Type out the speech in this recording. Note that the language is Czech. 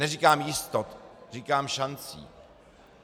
Neříkám jistot, říkám šancí.